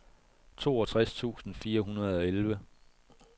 toogtres tusind fire hundrede og elleve